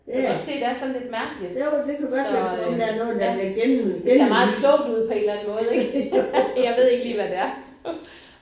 Du kan godt se det er sådan lidt mærkeligt så øh ja. Det ser meget klogt ud på en eller anden måde ikk. Jeg ved ikke lige hvad det er